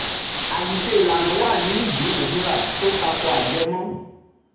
9. àṣìṣe ìlànà wà nínú ìdúnnàdúnrà tó tako ajẹmọ́.